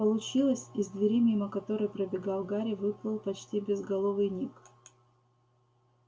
получилось из двери мимо которой пробегал гарри выплыл почти безголовый ник